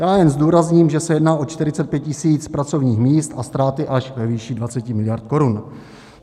Já jen zdůrazním, že se jedná o 45 tisíc pracovních míst a ztráty až ve výši 20 miliard korun.